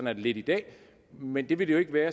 er det lidt i dag men det vil det jo ikke være